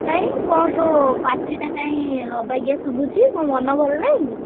କାଇଁ କଣ ତୋ ପାଟିଟା କାଇଁ ଅବାଗିଆ ଶୁଭୁଛି କଣ ମନ ଭଲ ନାହିଁ କି?